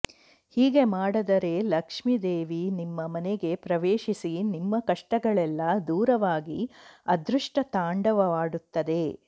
ಹೀಗೆ ಮಾಡದರೆ ಲಕ್ಷ್ಮೀದೇವಿ ನಿಮ್ಮ ಮನೆಗೆ ಪ್ರವೇಶಿಸಿ ನಿಮ್ಮ ಕಷ್ಟಗಳೆಲ್ಲಾ ದೂರವಾಗಿ ಅದೃಷ್ಟ ತಾಂಡವಾಡುತ್ತದೆ